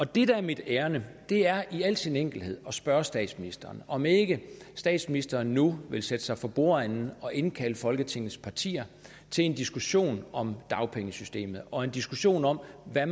det der er mit ærinde er i al sin enkelhed at spørge statsministeren om ikke statsministeren nu vil sætte sig for bordenden og indkalde folketingets partier til en diskussion om dagpengesystemet og en diskussion om hvad